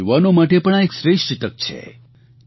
આપણા યુવાનો માટે પણ આ એક શ્રેષ્ઠ તક છે